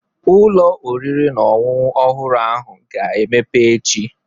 Ụlọ oriri na ọṅụṅụ ọhụrụ ahụ ga-emepe echi.